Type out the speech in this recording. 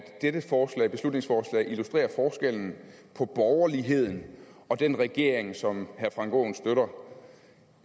dette beslutningsforslag illustrerer forskellen på borgerligheden og den regering som herre frank aaen støtter